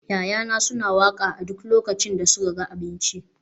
ya'yana suna waƙa a duk lokacin da suka ga abinci